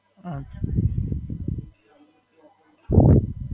અચ્છા.